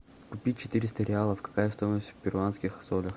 купить четыреста реалов какая стоимость в перуанских солях